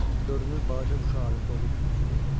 Görünür balaca quşu alüftə olub özümü unutmuşam.